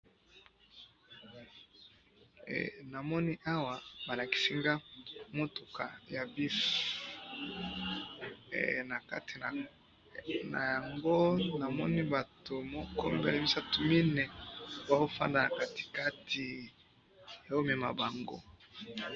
Namoni awa, balakisi nga mutuka ya buss, eh! Nakati nayango namoni batu moko, mibale, misatu, mine, bazofanda na katikati